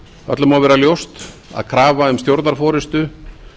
öllum má vera ljóst að krafa um stjórnarforustu